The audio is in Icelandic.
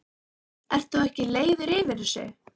Ert þú ekki leiður yfir þessu?